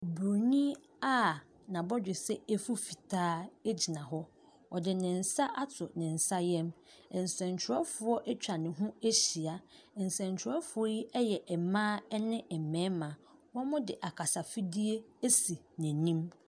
Bronyin a n'abɔdwe sɛ efu fitaa egyina hɔ ɔde ne nsa ato nensa yɛmu nsɛnkyerɛwfoɔ atwa no ho ehyia nsɛnkyerɛwfoɔ yi yɛ ɛmbaa ne mbɛɛma ɔmo de akasa fidie esi nenim.